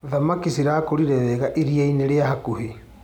Thamaki cirakũrire wega iriainĩ rĩa hakuhĩ.